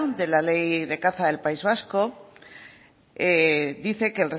de la ley de caza del país vasco dice que